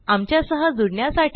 आमच्यासह जुड ण्यासाठी